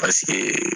Paseke